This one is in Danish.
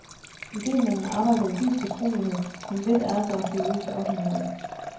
Idemændene arbejder i dyb fortrolighed, men lidt er der dog sivet ud til offentligheden.